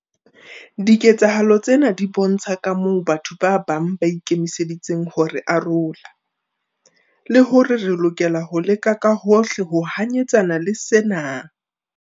Diketsahalo tsena di bontsha kamoo batho ba bang ba ikemiseditseng ho re arola, le hore re lokela ho leka ka hohle ho hanyetsana le sena.